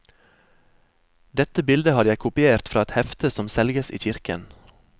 Dette bildet har jeg kopiert fra et hefte som selges i kirken.